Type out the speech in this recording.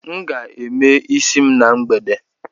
M ga- eme isi m na mgbede